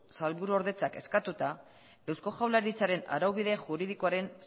sailburuordetzak eskatuta eusko jaurlaritzaren arau bide juridikoaren